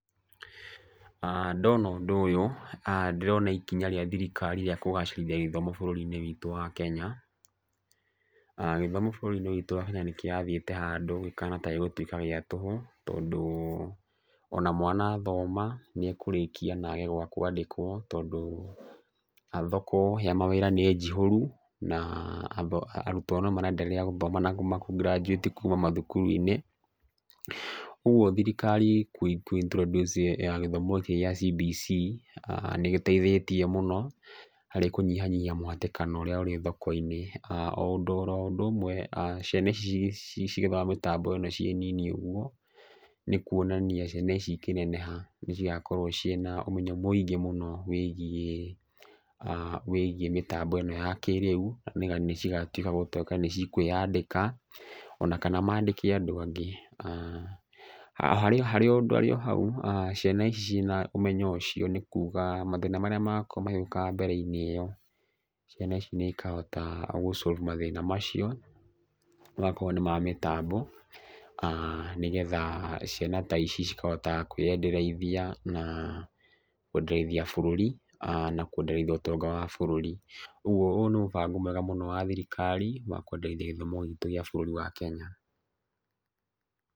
Ndona ũndũ ũyũ ndĩrona ikinya rĩa thirikari rĩa kũgacĩrithia gĩthomo bũrũri-inĩ witũ wa Kenya. Gĩthomo bũrũri-inĩ witũ wa Kenya nĩkĩrathiĩte handũ gĩkahana ta gĩgũtuĩka gĩa tũhũ. Tondũ ona mwana athoma nĩekũrĩkia na age gwa kwandĩkwo tondũ thoko ya mawĩra nĩ njihũru na arutwo no maraenderea gũthoma na ku graduate kuma mathukuru-inĩ. Koguo thirikari kũ introduce gĩthomo gikĩ gĩa CBC nĩgĩteithĩtie mũno harĩ kũnyihanyihia mũhatĩkano ũrĩa ũrĩ thoko-inĩ. O ũndũ ũmwe ciana ici cigĩthoma mĩtambo ĩno cirĩ nyinyi ũguo nĩ kuonania ciana ici ikĩneneha nĩcigakorwo ciĩna ũmenyo mũingĩ mũno wĩgiĩ mĩtambo ĩno ya kĩrĩu na nĩcigokorwo cikĩyandĩka ona kana mandĩke andũ angĩ. Harĩ o hau ciana ici ciĩna ũmenyo ũcio nĩ kuga mathĩna marĩa magakorwo magĩũka mbere-inĩ ĩyo, ciana ici nĩcikahota gũ solve mathĩna macio ona akorwo nĩma mĩtambo. Nĩgetha ciana ta ici cikahota kwĩendereithia na kwendereithia bũrũri na kwendereithia ũtonga wa bũrũri. Ũguo nĩ mũbango mwega wa thirikari wa kwendereithia gĩthomo gĩkĩ gĩa bũrũri witũ wa Kenya.